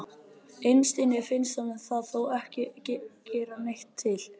Innst inni finnst honum það þó ekki gera neitt til.